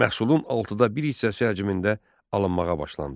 Məhsulun altıda bir hissəsi həcmində alınmağa başlandı.